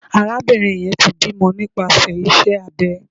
Arabinrin yẹn ti bimọ nipasẹ ise abė